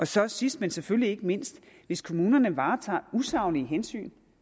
så sidst men selvfølgelig ikke mindst hvis kommunerne varetager usaglige hensyn